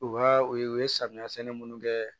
U ka u ye samiya sɛnɛ munnu kɛ